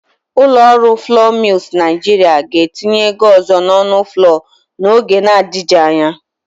Ụlọ ọrụ flọọ Milz Naịjịrịa ga-etinye ego ọzọ n'ọnụ flọọ n'oge na-adigji anya.